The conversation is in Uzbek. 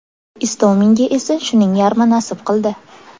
Istominga esa shuning yarmi nasib qildi.